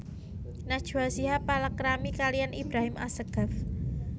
Najwa Shihab palakrami kaliyan Ibrahim Assegaf